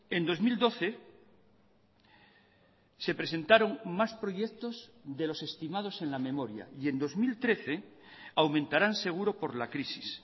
en dos mil doce se presentaron más proyectos de los estimados en la memoria y en dos mil trece aumentarán seguro por la crisis